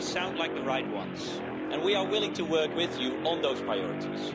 They sound like the right ones and we are willing to work with you on those priorities.